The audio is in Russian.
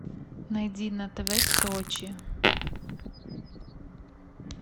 найди на тв сочи